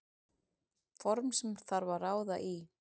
Form sem þarf að ráða í.